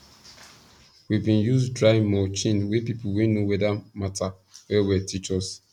we bin use dry mulching wey people wey know weather matter well well teach us